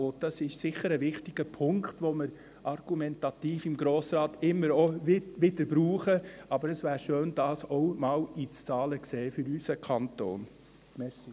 Dies ist sicher ein wichtiger Punkt, welchen wir im Grossen Rat immer wieder argumentativ verwenden, und es wäre schön, dies auch einmal in Zahlen aus unserem Kanton zu sehen.